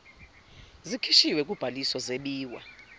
zikhishiwe kubhaliso zebiwa